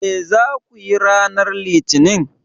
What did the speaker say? Me za ku yi ranar Litinin?